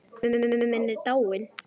Pabbi minn er dáinn.